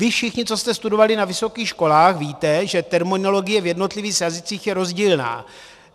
Vy všichni, co jste studovali na vysokých školách, víte, že terminologie v jednotlivých jazycích je rozdílná.